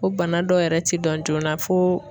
Ko bana dɔw yɛrɛ ti dɔn joona fo